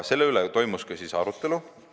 Selle üle toimus ka arutelu.